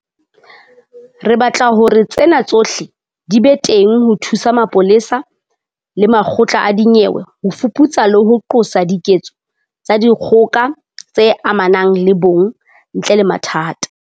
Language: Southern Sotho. Re batla hore tsena tsohle di be teng ho thusa mapolesa le makgotla a dinyewe ho fuputsa le ho qosa diketso tsa dikgoka tse amanang le bong ntle le mathata.